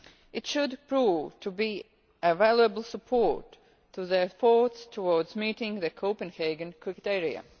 It should prove to be a valuable support to the efforts towards meeting the Copenhagen criteria.